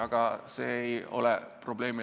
Aga see ei lahendaks probleemi.